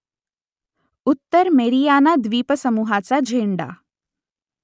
उत्तर मेरियाना द्वीपसमुहाचा झेंडा